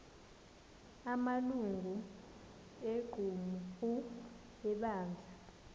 amalungu equmrhu lebandla